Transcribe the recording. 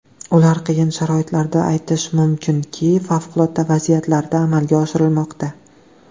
Ular qiyin sharoitlarda, aytish mumkinki, favqulodda vaziyatlarda amalga oshirilmoqda.